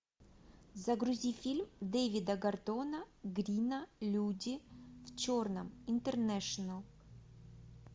загрузи фильм дэвида гордона грина люди в черном интернешнл